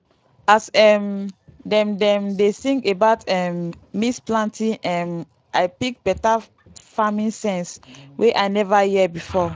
as um dem dem dey sing about um mix planting um i pick better farming sense wey i never hear before.